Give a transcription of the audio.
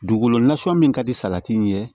Dugukolo nasugu min ka di salati ɲɛ